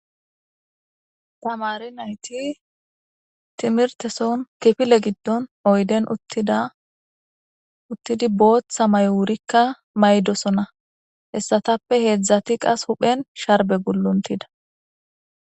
Tamari nayti timirteson kifile giddon oyden uttidi booththa mayo wurikka maydosona hessatappe heedzdzati qas huphen sharbe gulluntida